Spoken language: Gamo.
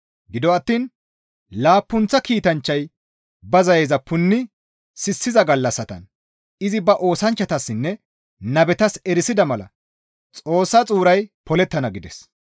Gido attiin laappunththa kiitanchchay ba zayeza punni sissiza gallassatan izi ba oosanchchatassinne nabetas erisida mala Xoossa xuuray polettana» gides.